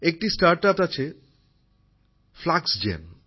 একটি স্টার্টআপস আছে ফ্লাক্সজেন